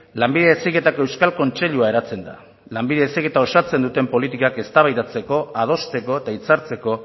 lanbide heziketako euskal kontseilua eratzen da lanbide heziketa osatzen dute politikak eztabaidatzeko adosteko eta hitzartzeko